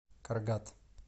каргат